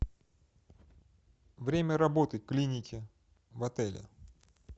время работы клиники в отеле